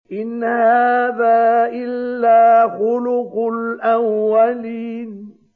إِنْ هَٰذَا إِلَّا خُلُقُ الْأَوَّلِينَ